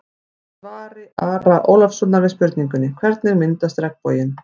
Í svari Ara Ólafssonar við spurningunni: Hvernig myndast regnboginn?